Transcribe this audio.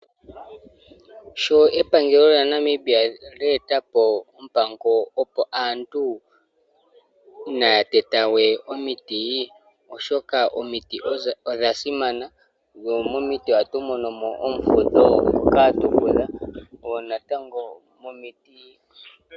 Sho epangelo lya Namibia lyetapo opango opo aantu inatetawe omiti oshoka omiti odho dha simana mo momiti ohatumonomo omufudho ngoka hatufudha.